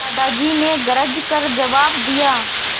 दादाजी ने गरज कर जवाब दिया